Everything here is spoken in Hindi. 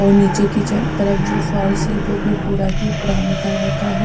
और नीचे की तरफ जो फर्स है वो भी पूरा ही ब्राउन कलर का है।